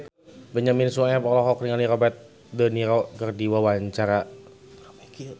Benyamin Sueb olohok ningali Robert de Niro keur diwawancara